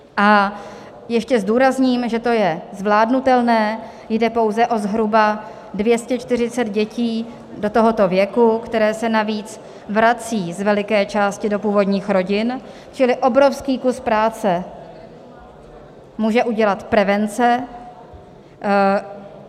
A ještě zdůrazním, že to je zvládnutelné, jde pouze o zhruba 240 dětí do tohoto věku, které se navíc vracejí z veliké části do původních rodin, čili obrovský kus práce může udělat prevence.